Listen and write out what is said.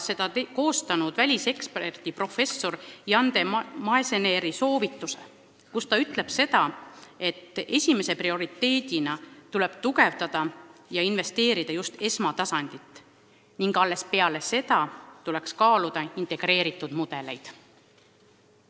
Selle on koostanud välisekspert professor Jan De Maeseneer, kes arvab, et esimese prioriteedina tuleb tugevdada just esmatasandit, sellesse investeerides, ning alles peale seda võib kaaluda integreeritud mudeleid.